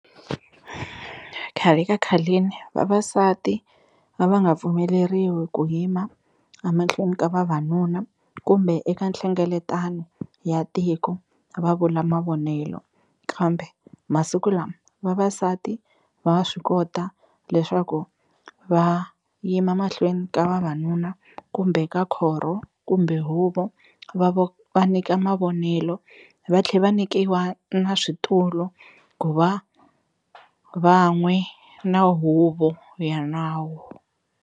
Khale ka khaleni vavasati a va nga pfumeleriwi ku yima a mahlweni ka vavanuna kumbe eka nhlengeletano ya tiko va vula mavonelo, kambe masiku lama vavasati va swi kota leswaku va yima mahlweni ka vavanuna kumbe ka khorho kumbe huvo va va nyika mavonelo, va tlhe va nyikiwa na switulu ku va van'we na huvo ya nawu.